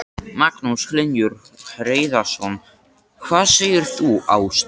Magnús Hlynur Hreiðarsson: Hvað segir þú Ásta?